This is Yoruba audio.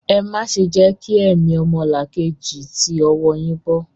Ẹ má ṣe jẹ́ kí ẹ̀mí ọmọlàkejì ó ti ọwọ́ ọ yín bọ́!